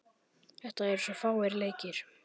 Þetta eru svo fáir leikir.